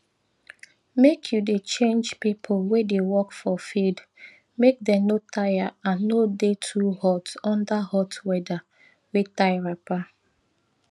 make you dey change pipo wey dey work for field make dem no tire and no dey too hot under hot weather wey tie wrapper